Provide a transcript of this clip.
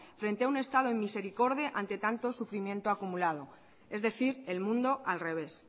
frente a un estado inmisericorde ante tanto sufrimiento acumulado es decir el mundo al revés